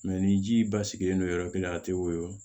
ni ji ba sigilen don yɔrɔ kelen na a tɛ woyo